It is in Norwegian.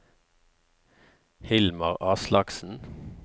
Hilmar Aslaksen